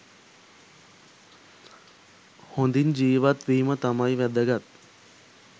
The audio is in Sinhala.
හොඳින් ජීවත්වීම තමයි වැදගත්.